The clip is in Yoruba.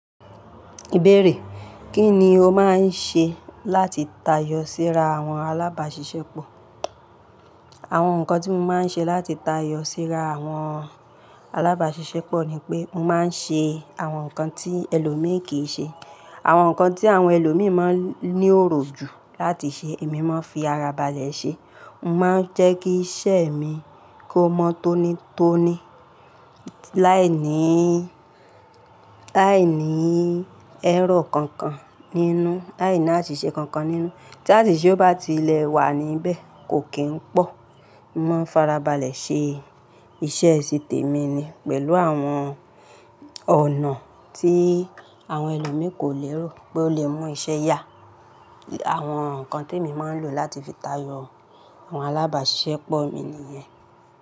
Ìbéèrè: Kí ni o máa ń ṣe láti tayọ síra àwọn alábàáṣiṣẹ́pọ̀? Àwọn nǹkan tí mo máa ń ṣe láti tayọ síra àwọn alábáṣiṣẹ́pọ̀ ni pé mo máa ń ṣe àwọn nǹkan tí ẹlòmí kíì ṣe. Àwọn nǹkan tí àwọn ẹlòmíì máa ń ní òròjù láti ṣe èmi máa ń fi ara ba lẹ̀ ṣe. Mo máa ń jẹ́ kí iṣẹ́ mi kó mọ́ tónítóní láìní, láìní ẹrrọr kankan nínú, láìní àṣìṣe kankan nínú. Tí àṣìṣe o bá tiẹ̀ wà níbẹ̀ kò kí ń pọ̀. Mo máa ń farabalẹ̀ ṣe iṣẹ́ ti tèmi ni pẹ̀lú àwọn ọ̀nà tí àwọn ẹlòmíì kò lérò pé ó le mú iṣẹ́ yá. Àwọn nǹkan tí èmi máa ń lò láti fi tayọ àwọn alábàáṣiṣẹ́pọ̀ mi nìyẹn.